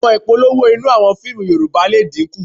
À̀wọn ìpolówó inú àwọn fíìmù Yorùbá lè dínkù